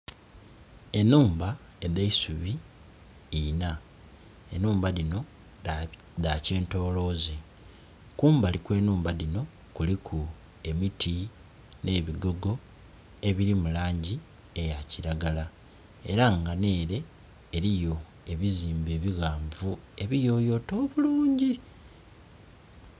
Enhumba edheisubi inna enhumba dhino dha kitoloze kumbali kwe nhumna dhino kuliku emiti ne bigogo ebiri mu langi eya kilagala era nga nere eriyo ebizimbe ebighanvu ebiyoyote obuluungi.